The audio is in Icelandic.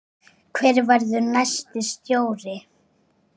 Hver verður næsti stjóri?